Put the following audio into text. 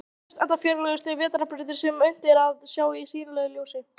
Á henni sjást enda fjarlægustu vetrarbrautir sem unnt er að sjá í sýnilegu ljósi.